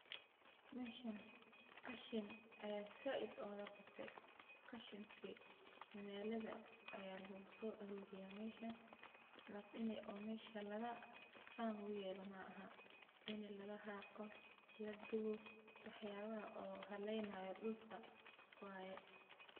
Meshan qashin ayaa zaid uga bate. Qashinki magalada ayaa losoaruriyah meshan, lakini ini mesha san luguyelo maaha, ini lagaxaqo , lagubo, waxyabaha oo haleynayo dulka waye.